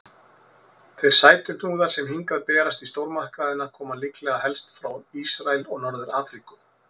Þeir sætuhnúðar sem hingað berast í stórmarkaðina koma líklega helst frá Ísrael og Norður-Afríku.